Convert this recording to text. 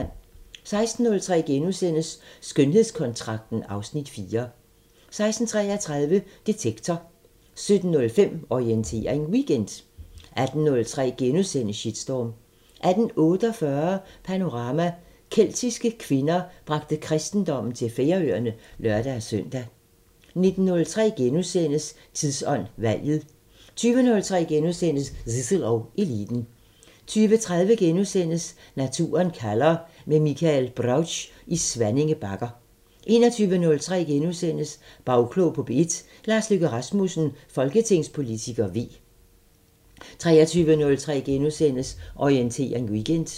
16:03: Skønhedskontrakten (Afs. 4)* 16:33: Detektor 17:05: Orientering Weekend 18:03: Shitstorm * 18:48: Panorama: Keltiske kvinder bragte kristendommen til Færøerne (lør-søn) 19:03: Tidsånd: Valget * 20:03: Zissel og Eliten * 20:30: Naturen kalder – med Michael Brautsch i Svanninge Bakker * 21:03: Bagklog på P1: Lars Løkke Rasmussen, folketingspolitiker (V) * 23:03: Orientering Weekend *